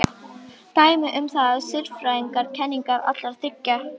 Dæmi um það eru siðfræðilegar kenningar allra þriggja.